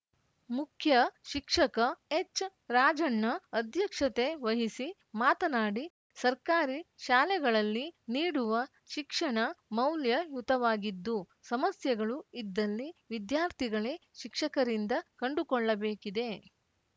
ಮುಖ್ಯಶಿಕ್ಷಕ ಎಚ್‌ರಾಜಣ್ಣ ಅಧ್ಯಕ್ಷತೆ ವಹಿಸಿ ಮಾತನಾಡಿ ಸರ್ಕಾರಿ ಶಾಲೆಗಳಲ್ಲಿ ನೀಡುವ ಶಿಕ್ಷಣ ಮೌಲ್ಯಯುತವಾಗಿದ್ದು ಸಮಸ್ಯೆಗಳು ಇದ್ದಲ್ಲಿ ವಿದ್ಯಾರ್ಥಿಗಳೇ ಶಿಕ್ಷಕರಿಂದ ಕಂಡುಕೊಳ್ಳಬೇಕಿದೆ